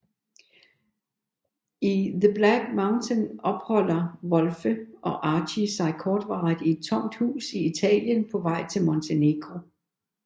I The Black Mountain opholder Wolfe og Archie sig kortvarigt i et tomt hus i Italien på vej til Montenegro